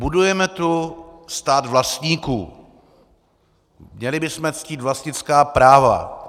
Budujeme tu stát vlastníků, měli bychom ctít vlastnická práva.